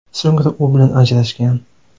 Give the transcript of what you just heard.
So‘ngra u bilan ajrashgan.